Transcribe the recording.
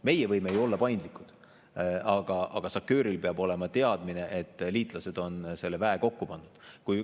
Meie võime ju olla paindlikud, aga SACEUR-il peab olema teadmine, et liitlased on selle väe kokku pannud.